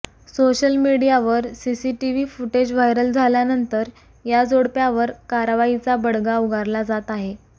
social मीडियावर CCTV footage viral झाल्यानंतर या जोडप्यावर कारवाईचा बडगा उगारला जात आहे